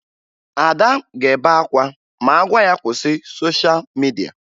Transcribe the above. Ada ga-ebe akwa ma a gwa ya kwụsị sosha midia